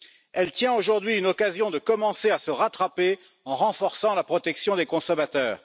Elle tient aujourd'hui une occasion de commencer à se rattraper en renforçant la protection des consommateurs.